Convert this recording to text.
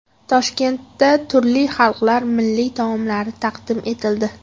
Toshkentda turli xalqlar milliy taomlari taqdim etildi .